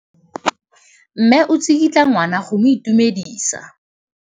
Mme o tsikitla ngwana go mo itumedisa.